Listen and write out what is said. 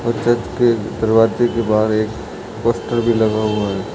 और चर्च के दरवाजे के बाहर एक पोस्टर भी लगा हुआ है।